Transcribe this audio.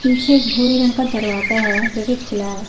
पीछे एक भूरे रंग का दरवाजा है जो कि खुला है।